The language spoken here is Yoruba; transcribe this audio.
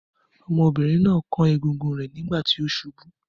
Ọmọbìnrin náà kán egungun rẹ̀ nígbà tí ó ṣubú.